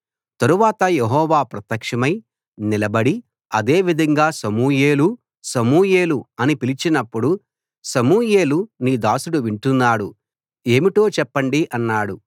తరువాత యెహోవా ప్రత్యక్షమై నిలబడి అదే విధంగా సమూయేలూ సమూయేలూ అని పిలిచినప్పుడు సమూయేలు నీ దాసుడు వింటున్నాడు ఏమిటో చెప్పండి అన్నాడు